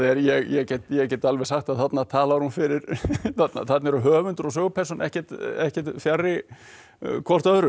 ég get ég get alveg sagt að þarna talar hún fyrir þarna eru höfundur og sögupersóna ekkert ekkert fjarri hvort öðru